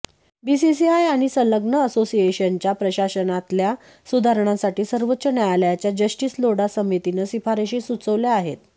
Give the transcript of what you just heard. BCCI आणि संलग्न असोसिएशन्सच्या प्रशासनातल्या सुधारणांसाठी सर्वोच्च न्यायालयाच्या जस्टिस लोढा समितीनं शिफारशी सुचवल्या आहेत